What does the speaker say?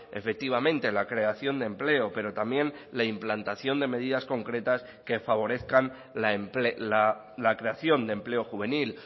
efectivamente la creación de empleo pero también la implantación de medidas concretas que favorezcan la creación de empleo juvenil